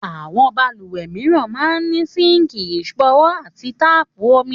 Àwọn balùwẹ̀ mìíràn máa ń ní síǹkì ìṣanwọ́ àti táàpù omi